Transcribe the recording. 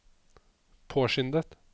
påskyndet